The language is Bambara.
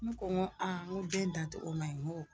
N ko aa den da togo ma ɲi.